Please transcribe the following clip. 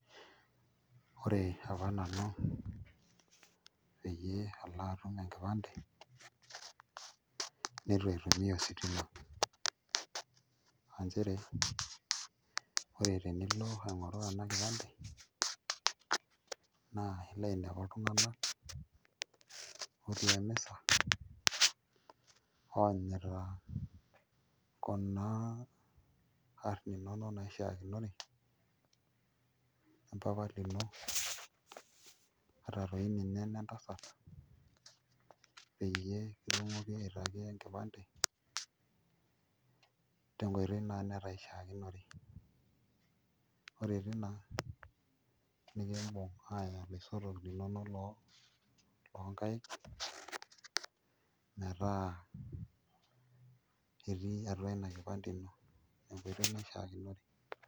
Ore apa nanu pee atum enkipande nitu aitumia ositima nchere ore tenilo aing'oru ena enkipande naa ilo ainepu iltunganak ootii emisa oonyita kuna aarn inonok naishiakinore o mpapa lino ata toi ninye inentasat peyie kitumokini aitaki enkipande tenkoitoi naa netaa ishiakinore ore tina nikimbung' aaya iloisotok linonok loonkaik metaa etii atua ina kipande ino tenkoitoi naishiakinore.